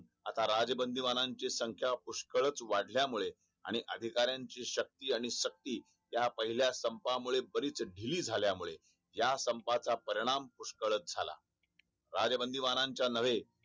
आता राजबंदी वारांची संख्या पुष्कळच वाढल्यामुळे आणि अधिकाऱ्यांची शक्ती आणि शक्ती या पहिल्या स्तंपामुळे परिस्थिती झाल्यामुळे या संपाचा परिणाम कळत राजा बंदी वालाच्या नव्हे